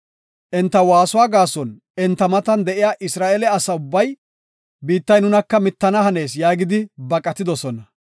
Enta waasuwa gaason enta matan de7iya Isra7eele asa ubbay, “Biittay nunaka mittana hanees” yaagidi baqatidosona.